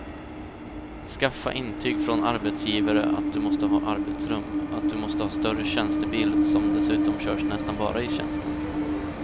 Skaffa intyg från arbetsgivare att du måste ha arbetsrum, att du måste ha större tjänstebil som dessutom körs nästan bara i tjänsten.